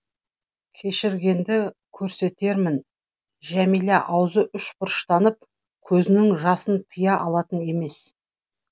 кешіргенді көрсетермін жәмилә аузы үшбұрыштанып көзінің жасын тыя алатын емес